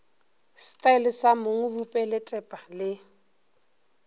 setaele sa mong bupeletpa le